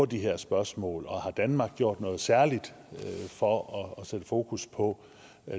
de her spørgsmål og har danmark gjort noget særligt for at sætte fokus på